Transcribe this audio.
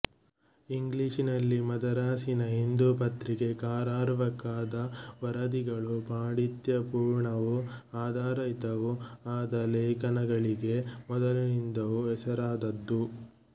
ಇಂಗ್ಲಿಷಿನಲ್ಲಿ ಮದರಾಸಿನ ಹಿಂದೂ ಪತ್ರಿಕೆ ಕರಾರುವಾಕ್ಕಾದ ವರದಿಗಳು ಪಾಂಡಿತ್ಯಪೂರ್ಣವೂ ಆಧಾರಯುತವೂ ಆದ ಲೇಖನಗಳಿಗೆ ಮೊದಲಿಂದಲೂ ಹೆಸರಾದದ್ದು